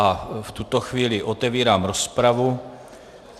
A v tuto chvíli otevírám rozpravu.